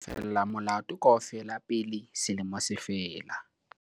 o tla lefella molato kaofela pele selemo se fela